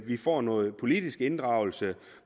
vi får noget politisk inddragelse